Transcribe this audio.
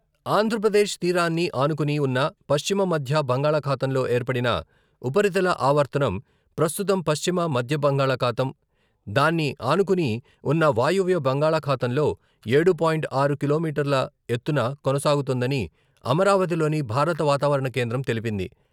ఆంధ్రప్రదేశ్ తీరాన్ని ఆనుకుని ఉన్న పశ్చిమ మధ్య బంగాళాఖాతంలో ఏర్పడిన ఉపరితల ఆవర్తనం ప్రస్తుతం పశ్చిమ మధ్య బంగాళాఖాతం, దాన్ని ఆనుకుని ఉన్న వాయువ్య బంగాళాఖాతంలో ఏడు పాయింట్ ఆరు కిలోమీటర్ల ఎత్తున కొనసాగుతోందని అమరావతిలోని భారత వాతావరణ కేంద్రం తెలిపింది.